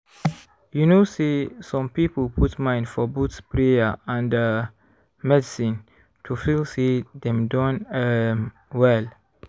you know say some people put mind for both prayer and ah medicine to feel say dem don um well.